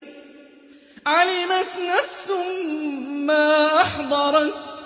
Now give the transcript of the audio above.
عَلِمَتْ نَفْسٌ مَّا أَحْضَرَتْ